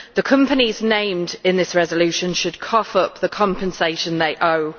The companies named in this resolution should cough up the compensation they owe.